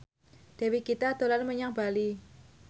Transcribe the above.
Dewi Gita dolan menyang Bali